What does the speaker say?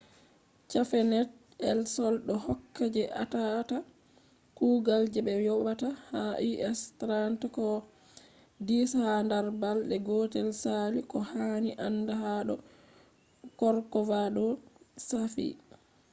cafenet el sol do hokka je atata kugal je be yobata ha us$30 koh $10 ha dar balde gotel sali koh hani anda ha do corcovado shafi